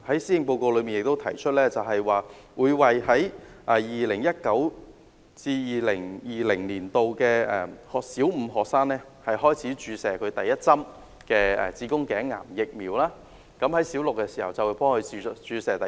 施政報告亦提出，會在 2019-2020 學年為小五女學生開始接種第一劑子宮頸癌疫苗，到她們小六時便會接種第二劑。